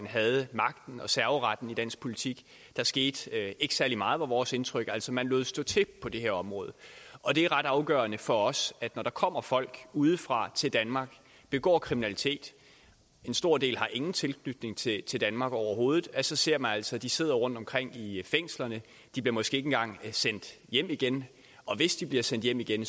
havde magten og serveretten i dansk politik der skete ikke særlig meget var vores indtryk altså man lod stå til på det her område og det er ret afgørende for os at når der kommer folk udefra til danmark begår kriminalitet en stor del har ingen tilknytning til til danmark overhovedet at så ser man altså at de sidder rundtomkring i fængslerne de bliver måske ikke engang sendt hjem igen og hvis de bliver sendt hjem igen